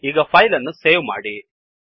ಈಗ ಈ ಫೈಲ್ ಅನ್ನು ಸೇವ್ ಮಾಡಿ